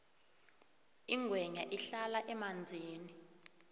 ingwenya ihlala emanzini